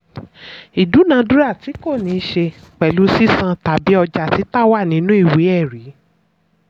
ìdúnàádúràá tí kò níṣe pẹ̀lú sísán tàbí ọjà títà wà nínú ìwé ẹ̀rí.